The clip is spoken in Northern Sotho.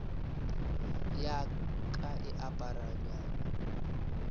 ya ka e apara nyamo